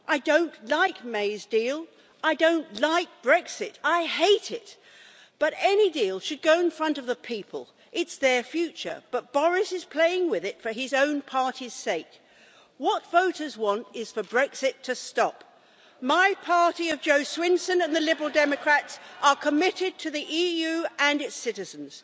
I don't like May's deal and I don't like Brexit I hate it but any deal should go in front of the people. It's their future, but Boris is playing with it for his own party's sake. What voters want is for Brexit to stop. My party, of Jo Swinson and the Liberal Democrats, are committed to the EU and its citizens.